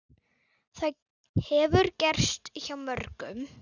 Það hefur gerst hjá mörgum.